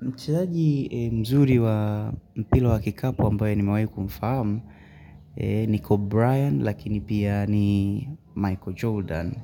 Mchezaji mzuri wa mpira wa kikapu ambaye nimewahi kumfahamu niko Brian lakini pia ni Michael Jordan